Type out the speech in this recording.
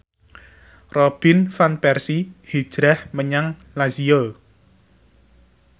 Robin Van Persie hijrah menyang Lazio